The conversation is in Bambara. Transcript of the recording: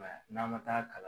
I m'a ya, n'an mɛ taa kalan